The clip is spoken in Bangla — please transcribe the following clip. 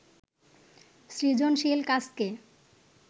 সৃজনশীল কাজকে